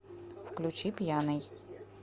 включи пьяный